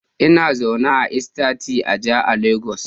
Ina zaune a Estate Aja a lagos